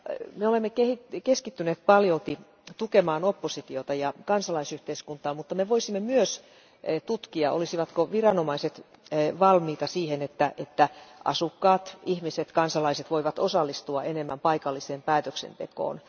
Me olemme keskittyneet paljolti tukemaan oppositiota ja kansalaisyhteiskuntaa, mutta me voisimme myös tutkia, olisivatko viranomaiset valmiita siihen, että asukkaat, ihmiset, kansalaiset voivat osallistua enemmän paikalliseen päätöksentekoon.